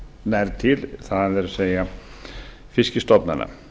nær til það er fiskstofnanna